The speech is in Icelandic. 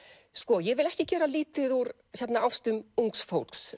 ég vil ekki gera lítið úr ástum ungs fólks